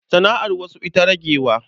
Sana'ar wasu ita ragewa.